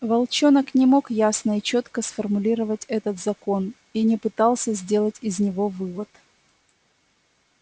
волчонок не мог ясно и чётко сформулировать этот закон и не пытался сделать из него вывод